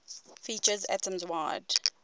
features atoms wide